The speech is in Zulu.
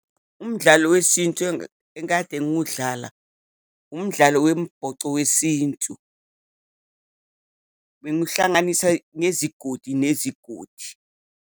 Umdlalo wesintu engikade ngiwudlala, umdlalo wembhoco wesintu. Bengiwuhlanganisa ngezigodi nezigodi.